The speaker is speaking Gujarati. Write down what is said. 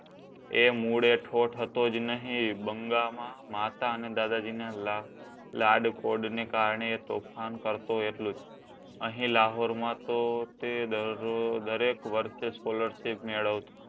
એ મૂળે ઠોઠ હતો જ નઈ. બંગાળમાં માતા અને દાદાજીના લાડકોડને કારણે તોફાન કરતો એટલુ જ અહીં લાહોરમાં તો તે દરેક વર્ષે સ્કોલરશીપ મેળવતો.